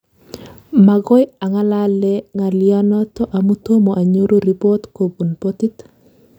Magoi ang'alale ng'alyonoto amu tomo anyoru rebot kobun botit